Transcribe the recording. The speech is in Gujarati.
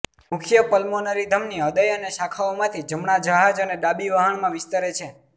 મુખ્ય પલ્મોનરી ધમની હૃદય અને શાખાઓમાંથી જમણા જહાજ અને ડાબી વહાણમાં વિસ્તરે છે